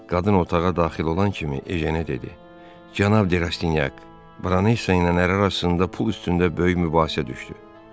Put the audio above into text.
Qadın otağa daxil olan kimi Ejənə dedi: "Cənab de Rastinyak, bronesa ilə əri arasında pul üstündə böyük mübahisə düşdü.